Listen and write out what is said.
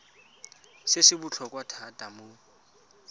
se se botlhokwa thata mo